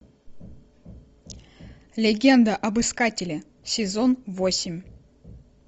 легенда об искателе сезон восемь